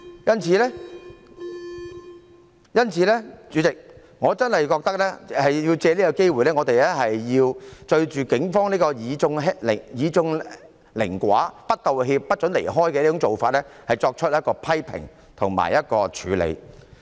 因此，主席，我真的覺得要藉此機會，對警方這種以眾凌寡、不道歉、不准人離開的做法，作出批評及處理。